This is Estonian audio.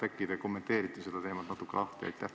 Äkki te kommenteerite seda teemat natuke?